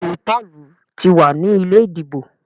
Béèni Paul tí wá ní ilé ìdìbò.